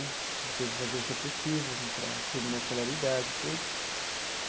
Teve que fazer o supletivo para terminar a escolaridade e tudo.